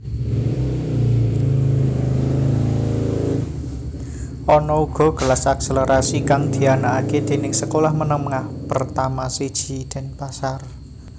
Ana uga kelas akselerasi kang dianakake déning sekolah menengah pertama siji Denpasar